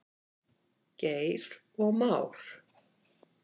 Geir og Már.